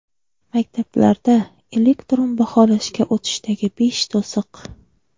Maktablarda elektron baholashga o‘tishdagi besh to‘siq.